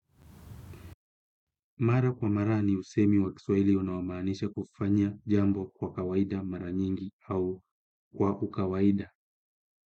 Mara kwa mara ni usemi wa kiswaili unaomanisha kufanya jambo kwa kawaida mara nyingi au kwa ukawaida.